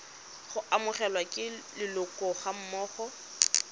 go amogelwa ke leloko gammogo